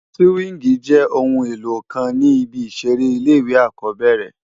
Sìwíngì jé óoún éló kán ni ibi iṣèré ilé iwé ákòbèrè